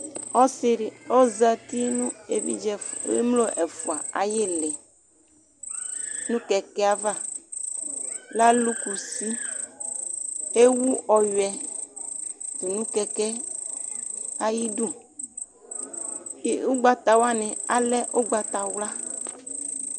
Ɔsi di ozati nʋ evidze ɛf, emlo ɛfua ayili nʋ kɛkɛ ava, alʋ kusi, ewu ɔyuiɛ tʋ nʋ kɛkɛ ayidu Ʋgbatawani ale ugbatawla